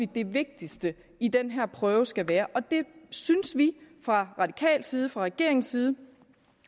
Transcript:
det vigtigste i den her prøve skal være og vi synes fra radikal side fra regeringens side